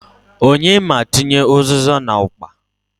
Onye m' atinye u᷂zịza n'okpa?